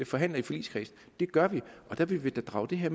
forhandler i forligskredsen det gør vi der vil vi da drage det her